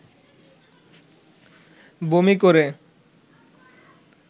বমি করে